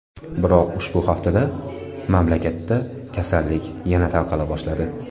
Biroq ushbu haftada mamlakatda kasallik yana tarqala boshladi.